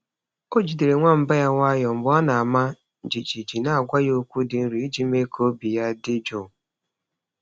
Ọ jidere nwamba ya nwayọọ mgbe ọ na-ama jijiji, na-agwa ya okwu dị nro iji mee ka obi ya dị jụụ.